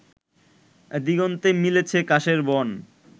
দিগন্তে মিলেছে কাশের বন